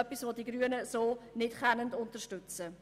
Das kann die grüne Fraktion nicht unterstützen.